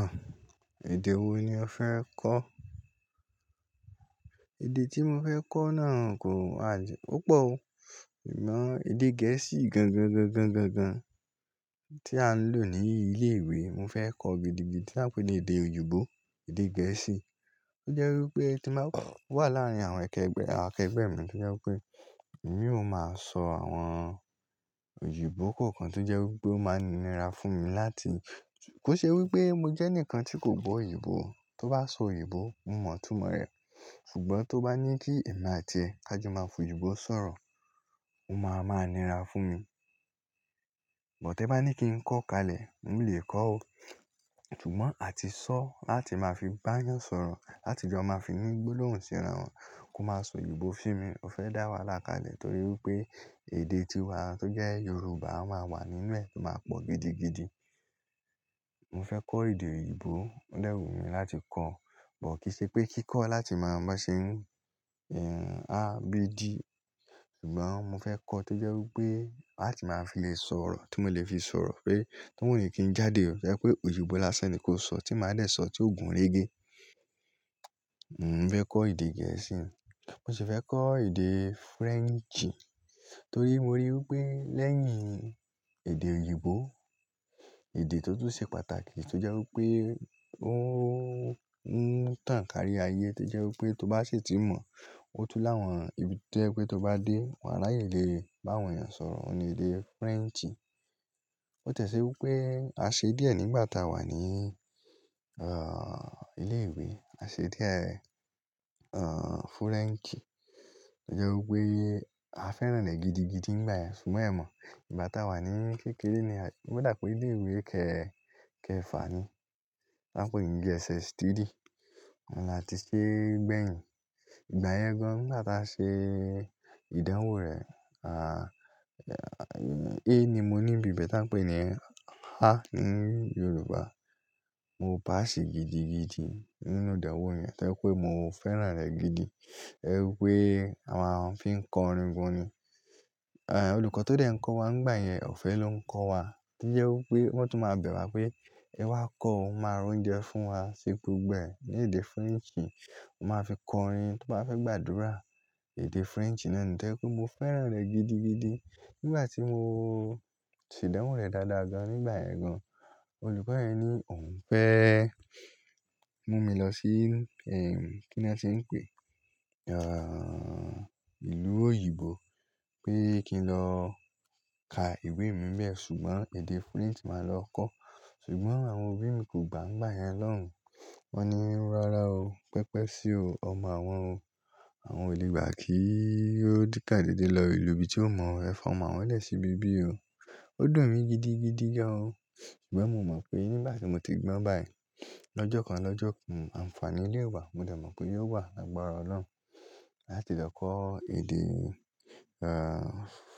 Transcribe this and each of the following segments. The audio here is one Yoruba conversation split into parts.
Àh! Èdè wo ni o fẹ́ kọ́? Èdè tí mo fẹ́ kọ́ náà kò à-- ò pọ̀ o. Ìmọ̀ èdè Gẹ̀ẹ́sì gangan-gangan-gangan tí a ń lò ní ilé ìwé, mo fẹ́ kọ́ gidigidi tí wọ́n ń pè ní èdè òyìnbó, èdè Gẹ̀ẹ́sì. Ó jẹ́ wí pé tí màá kọ́, wà láàárín àwọn akẹgbẹ́, àwọn akẹgbẹ́ mi tó jẹ́ wí pé èmi ó máa sọ àwọn òyìnbó kọ̀ọ̀kan tó jẹ́ wí pé ó máa nira fún mi láti-- kò ṣe wí pé mo jẹ́ ẹnìkan tí kò gbọ́ òyìnbó o. Tó bá sọ òyìnbó, mo mọ̀ tumọ̀ rẹ̀. Ṣùgbọ́n tó bá ní kí èmi àti ẹ ká jọ máa fún òyìnbó sọ̀rọ̀, ó máa máa nira fún mi. Bọ̀tẹ́ bá ní kí n kọ́ kalẹ̀, mo lè kọ́ o. Ṣùgbọ́n àti sọ láti máa fi bá a yàn sọ̀rọ̀, láti jọ máa fi ní gbólóhùn síra wọn, kó máa sọ òyìnbó fún mi. O fẹ́ dá wa láka lẹ̀ torí wipé èdè tí wa tó jẹ́ Yorùbá máa wà nínú ẹ̀, ó máa pọ̀ gidigidi. Mo fẹ́ kọ́ èdè òyìnbó o dẹ́wù mí láti kọ́, bọ̀ kì í ṣe pé kí kọ́ láti máa ban ṣe ń, ehn, A, B, D. Ṣùgbọ́n mo fẹ́ kọ́ tó jẹ́ wí pé láti máa fi lè sọ̀rọ̀, tí mo lè fi sọ̀rọ̀ pé, tó wù mí kí n jáde, ò jẹ́ pé òyìnbó lásán ni kó sọ tí màá lè sọ tí òògùn rége. Mo fẹ́ kọ́ èdè Gẹ̀ẹ́sì, mo sì fẹ́ kọ́ èdè French torí mo rí i wí pé lẹ́yìn èdè òyìnbó, èdè tó tún ṣe pàtàkì tó jẹ́ wí pé ó ń tàn kárí ayé tó jẹ́ wí pé tó bá ṣètí mọ̀, ó tú láwọn ibi tí ẹ pé tó bá dé, wà ráyè lè bá àwọn èèyàn sọ̀rọ̀, òun ni èdè French. Ó tẹ̀ ṣe wí pé a ṣe díẹ̀ nígbà tá a wà ní, ah, ilé ìwé. A ṣe díẹ̀, ahn, French. Ó jẹ́ wí pé a fẹ́ràn rẹ̀ gidigidi nígbà yẹn, ṣùgbọ́n ẹ mọ̀, ìgbà tá a wà ní kékeré ni a-- o dà pé ilé ìwé kẹ̀, kẹ̀ fà ni. Wọ́n ń pe ní G.S.S 3 òun láti sé gbẹ̀yìn. Ìgbà yẹn gan-an ùn gba ṣe ìdánwò rẹ̀, ah, A ni mo ní ibi bẹ tí a ń pè ní A ní Yorùbá. Mo pass í gidigidi nínú ìdánwò yẹn torí pé mo fẹ́ràn rẹ̀ gidi. Ẹ ri pé àwọn a fi ń kọ orin gan-ani. Eh, olùkọ́ tó dẹ̀ ń kọ́ wa nígbà yẹn, ọ̀fẹ́ ló ń kọ́ wa. Kí jẹ́ wí pé wọ́n tún máa bẹ̀ wá pé, "Ẹ wá kọ́, ó máa roúnjẹ fún wa sé gbogbo ẹ ní èdè French." Ó máa fi kọ orin to bá fẹ́ gbàdúrà. Èdè French náà ni torí pé mo fẹ́ràn rẹ̀ gidigidi. Nígbà tí mo ṣèdánwò rẹ̀ dáadáa gan-an nígbà yẹn gan-an, olùkọ́ yẹn ní òun fẹ́ mú mi lọ sí, ehn, kí ni wọ́n ti ń pè? Ahn, ìlú òyìnbó pé kí n lọ ka ìwé mí níẹ̀ ṣùgbọ́n èdè French màá lọ kọ́. Ṣùgbọ́n àwọn òbí mi kò gbà ngbà yẹn lọ́hùn-ún. Wọ́n ni, "Rárá o, pẹpẹ sí o, ọmọ àwọn o. Àwọn onígbá kì í ó di sà dédé lọ ìlú ibi tí ò mọ̀ o. Ẹ fọ́ ọmọ wọ́n lẹ̀ sí ibi bí o." Ó dùn mí gidigidi gán o. Ṣùgbọ́n mo mọ̀ pé nígbà tí mo ti gbọ́ báyìí, lọ́jọ́ kan lọ́jọ́ kan, àǹfàní lé wa, mo dẹ pé yóò wà lágbára Ọlọ́run láti lọ kọ́ èdè, ahn,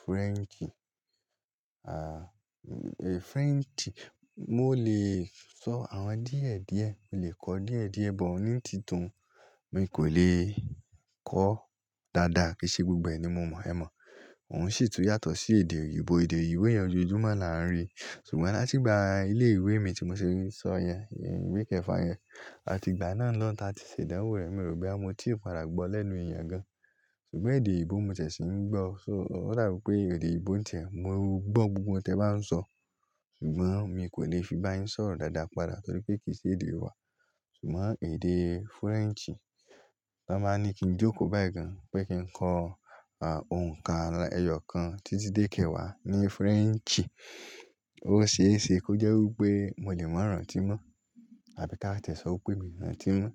French. Ahn, French mó lè sọ àwọn díẹ̀-díẹ̀, mo lè kọ díẹ̀-díẹ̀ bọ̀ ní títun, mi kò lè kọ́ dáadáa kí i ṣe gbogbo ẹ ni mo mọ̀ ẹ mọ̀. Òun sì tún yàtọ̀ sí èdè òyìnbó. Èdè yìí wẹ yan ju ojúmọ́ la ń rí. Ṣùgbọ́n láti ìgbà ilé ìwé mi tí mo ṣe ń sọ yẹn, ìwé kẹ́ẹ̀fà yẹn, àti ìgbà náà lọ́ n táa ti ṣèdánwò rẹ̀, mi ò rí bí àmọ́ tí ì padà gbọ́ lẹ́nu èèyàn gan-an. Ṣùgbọ́n èdè òyìnbó mo ṣẹ̀ ṣì ń gbọ́. So ó dà wípé èdè òyìnbó ń tiẹ̀, mo ń gbọ́ gbogbo ohun tí ẹ bá ń sọ. Ṣùgbọ́n mi kò lè fi bá yín sọ̀rọ̀ dáadáa padà torí pé kì í ṣe èdè wa. Ṣùgbọ́n èdè French, tán báa ní kí n jókòó báyìí gan-an pé kí n kọ́, ahn, ohùn kan, ẹyọ kan tí tí dé kẹ́wàá ní French. Ó ṣe é ṣe kó jẹ́ wí pé mo lè mọ̀rán tímọ́ àbí tá a tẹ̀ sọ wí pé mi mọ̀rán tímọ́.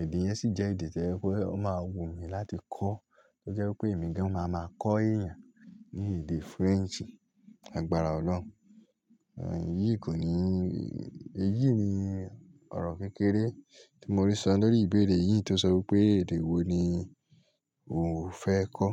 Èdè yẹn sì jẹ́ èdè tí ẹ wí pé wọ́n máa wù mí láti kọ́. Tó jẹ́ wí pé èmi gan-an máa ma kọ́ èèyàn ní èdè French. Àgbára Ọlọ́run. Ehn, èyí kò ní-- èyí ni ọ̀rọ̀ kékeré tí mo ri sọ lórí ìbéèrè yìí tó sọ wí pé èdè wo ni òún fẹ́ kọ́?